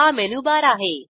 हा मेनूबार आहे